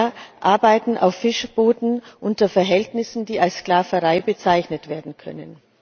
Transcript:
Viele Männer arbeiten auf Fischerbooten unter Verhältnissen, die als Sklaverei bezeichnet werden können.